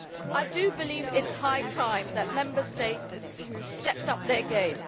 I do believe it is high time that Member States stepped up their game.